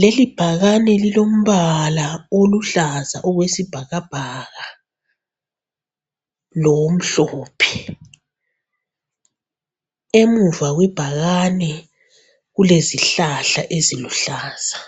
Lelibhakane lilombala oluhlaza okwesibhakabhaka lomhlophe. Emuva kwebhakane kulezihlahla eziluhlaza.